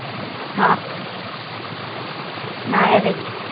हा. नाय रे.